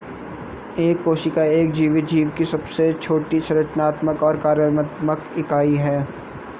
एक कोशिका एक जीवित जीव की सबसे छोटी संरचनात्मक और कार्यात्मक इकाई है